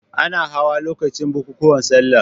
Ana hawan lokacin bukukuwan salla.